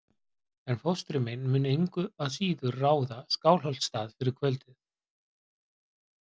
En fóstri minn mun engu að síður ráða Skálholtsstað fyrir kvöldið.